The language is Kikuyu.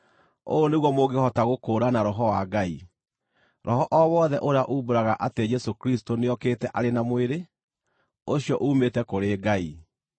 Ũũ nĩguo mũngĩhota gũkũũrana Roho wa Ngai: Roho o wothe ũrĩa uumbũraga atĩ Jesũ Kristũ nĩokĩte arĩ na mwĩrĩ, ũcio uumĩte kũrĩ Ngai,